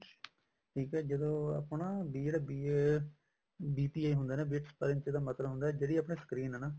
ਠੀਕ ਹੈ ਜਦੋਂ ਆਪਣਾ ਵੀ BA BPA ਹੁੰਦਾ ਨਾ bit per inch ਦਾ ਮਤਲਬ ਹੁੰਦਾ ਜਿਹੜੀ ਆਪਣੀ screen ਆ ਨਾ